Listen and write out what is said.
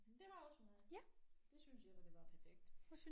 Men det var det også for mig. Det synes jeg var det var perfekt